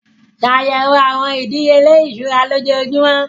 Ṣàyẹ̀wò àwọn ìdíyelé ìṣúra lójoojúmọ́.